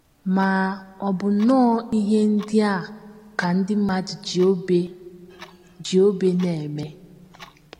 Ma, ọ bụ nnọọ ihe ndị a ka ndị mmadụ ji obe ji obe na - eme!